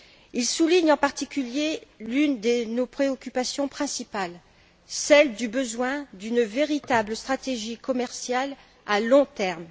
Il souligne en particulier l'une de nos préoccupations principales, celle du besoin d'une véritable stratégie commerciale à long terme.